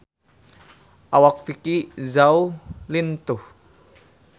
Awak Vicki Zao lintuh